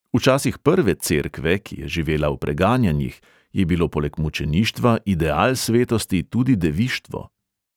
V časih prve cerkve, ki je živela v preganjanjih, je bilo poleg mučeništva ideal svetosti tudi devištvo.